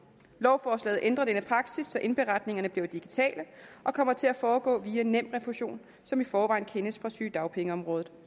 lovforslaget ændrer denne praksis så indberetningerne bliver digitale og kommer til at foregå via nemrefusion som i forvejen kendes fra sygedagpengeområdet